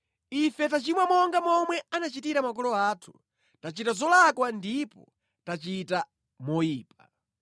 Ife tachimwa monga momwe anachitira makolo athu; tachita zolakwa ndipo tachita moyipa.